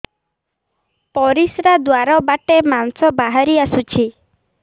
ପରିଶ୍ରା ଦ୍ୱାର ବାଟେ ମାଂସ ବାହାରି ଆସୁଛି